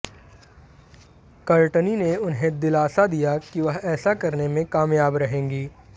Courtney ने उन्हें दिलासा दिया कि वह ऐसा करने में कामयाब रहेंगी